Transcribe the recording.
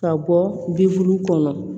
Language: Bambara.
Ka bɔ bi duuru kɔnɔ